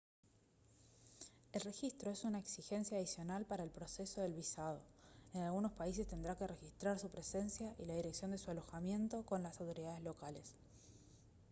el registro es una exigencia adicional para el proceso del visado en algunos países tendrá que registrar su presencia y la dirección de su alojamiento con las autoridades locales